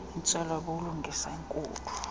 intswelo bulungisa enkulu